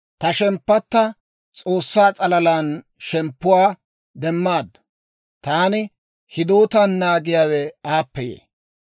Ta shemppatta S'oossaa s'alalan shemppuwaa demmaaddu; taani hidootan naagiyaawe aappe yee.